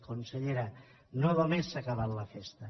consellera no només s’ha acabat la festa